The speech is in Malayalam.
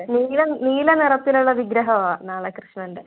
നീല നീല നിറത്തിലുള്ള വിഗ്രഹവാ നാളെ കൃഷ്ണന്‍ടെ